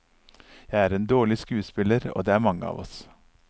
Jeg er en dårlig skuespiller, og det er mange av oss.